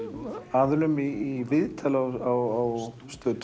aðilum í viðtali á Stöð